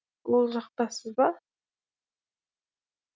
ол жақтасыз ба